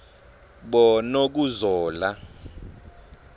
bonokuzola